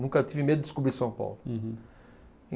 Nunca tive medo de descobrir São Paulo. Uhum.